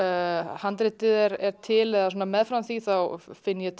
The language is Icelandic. handritið er til eða meðfram því finn ég